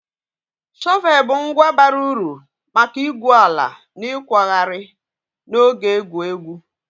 Shọvel bụ ngwa bara uru maka igwu ala na ịkwagharị na oge egwu egwu